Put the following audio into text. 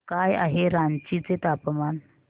काय आहे रांची चे तापमान